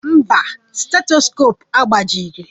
Mba, stetoskopu agbajighi